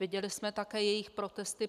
Viděli jsme také jejich protesty.